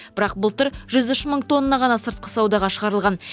бірақ былтыр жүз үш мың тонна ғана сыртқы саудаға шығарылған